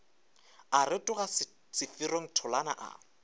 a rotoga seferong tholana a